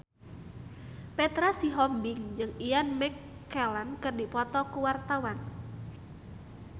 Petra Sihombing jeung Ian McKellen keur dipoto ku wartawan